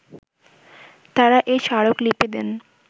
তারা এ স্মারকলিপি দেন